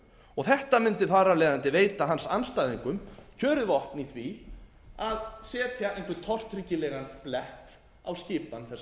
og þetta mundi þar af leiðandi veita hans andstæðingum kjörið vopn í því að setja einhvern tortryggilegan blett á skipan þessarar stjórnar og mér finnst